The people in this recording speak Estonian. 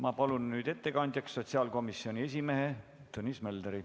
Ma palun ettekandjaks sotsiaalkomisjoni esimehe Tõnis Möldri.